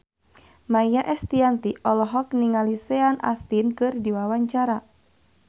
Maia Estianty olohok ningali Sean Astin keur diwawancara